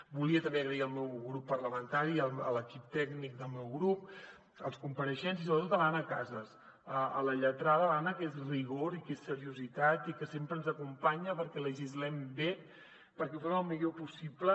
volia també donar les gràcies al meu grup parlamentari a l’equip tècnic del meu grup als compareixents i sobretot a l’anna casas a la lletrada l’anna que és rigor i que és seriositat i que sempre ens acompanya perquè legislem bé perquè ho fem el millor possible